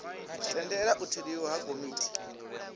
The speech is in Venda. tendela u tholiwa ha komiti